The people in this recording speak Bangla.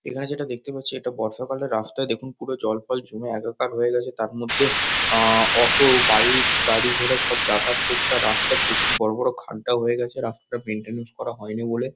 এখানে যেটা দেখতে পাচ্ছি এটা বর্ষাকালের রাস্তায় দেখুন পুরো জল ফল জমে একাকার হয়ে গেছে। তার মধ্যে আমম অটো বাইক গাড়ি ঘোড়া সব যাতায়াত করছে। আর রাস্তায় প্রচুর বড়ো বড়ো খাড্ডা হয়ে গেছে রাস্তাটা মেইনটেনেন্স করা হয় নি বলে।